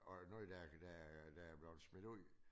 Og der der der er blevet smidt ud